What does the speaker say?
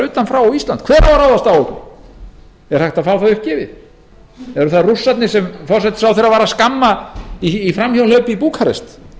utan frá á ísland hver á að ráðast á okkur er hægt að fá það uppgefið eru það rússarnir sem forsætisráðherra var að skamma í framhjáhlaupi í búkarest